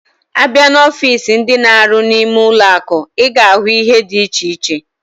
Abia na ọfịs ndi na-aru nime ụlọ akụ, iga ahu ihe diche iche.